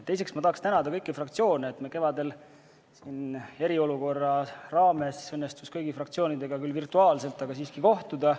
Teiseks ma tahaksin tänada kõiki fraktsioone, et meil kevadel eriolukorra ajal õnnestus teie kõigiga – küll virtuaalselt, aga siiski – kohtuda.